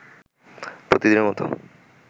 প্রতিদিনের মতো